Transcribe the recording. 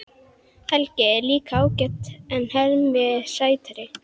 Helgi er líka ágætur en Hemmi er sætari.